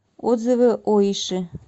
отзывы оиши